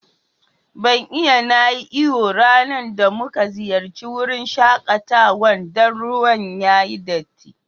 Ban iya na yi iyo ranan da mun ziyace wurin shakatawan Dan ruwan yayi datti.